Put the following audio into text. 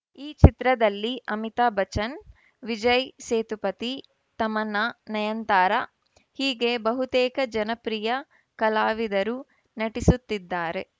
ಈ ಚಿತ್ರದಲ್ಲಿ ಅಮಿತಾಭ್‌ ಬಚ್ಚನ್‌ ವಿಜಯ್‌ ಸೇತುಪತಿ ತಮನ್ನಾ ನಯನತಾರಾ ಹೀಗೆ ಬಹುತೇಕ ಜನಪ್ರಿಯ ಕಲಾವಿದರು ನಟಿಸುತ್ತಿದ್ದಾರೆ